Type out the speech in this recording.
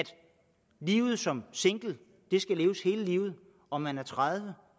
livet som single skal leves hele livet om man er tredive